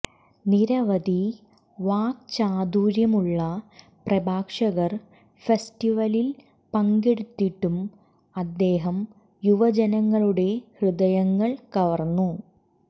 നിരവധി വാക്ചാതുര്യമുള്ള പ്രഭാഷകർ ഫെസ്റ്റിവലിൽ പങ്കെടുത്തിട്ടും അദ്ദേഹം യുവജനങ്ങളുടെ ഹൃദയങ്ങൾ കവർന്നു